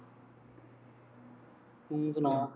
ਤੂੰ ਸੁਣਾ